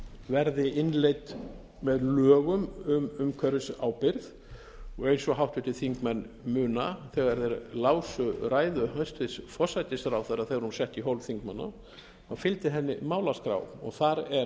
verði innleidd með lögum um umhverfisábyrgð og eins og háttvirtir þingmenn muna þegar þeir lásu ræðu hæstvirts forsætisráðherra sem hún setti í hólf þingmanna fylgdi henni málaskrá og þar er þetta